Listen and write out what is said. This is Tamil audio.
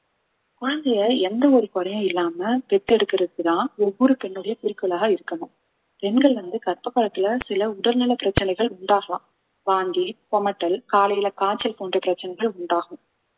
குழந்தையை எந்த ஒரு குறையும் இல்லாம பெத்தெடுக்கறதுக்குத்தான் ஒவ்வொரு பெண்ணுடைய குறிக்கோளாக இருக்கணும் பெண்கள் வந்து கர்ப்ப காலத்துல சில உடல்நல பிரச்சனைகள் உண்டாகலாம் வாந்தி குமட்டல் காலையில காய்ச்சல் போன்ற பிரச்சனைகள் உண்டாகும்